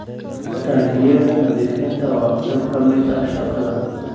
Taangiyada nadiifinta waa qayb ka mid ah shaqada.